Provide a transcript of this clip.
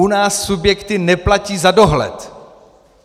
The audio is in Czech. U nás subjekty neplatí za dohled.